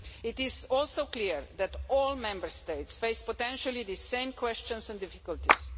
It is also clear that all Member States potentially face these same questions and difficulties.